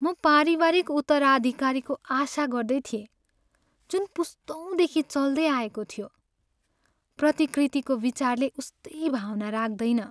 म पारिवारिक उत्तराधिकारीको आशा गर्दै थिएँ, जुन पुस्तौँदेखि चल्दै आएको थियो। प्रतिकृतिको विचारले उस्तै भावना राख्दैन।